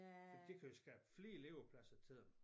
For det kunne jo skabe flere levepladser til dem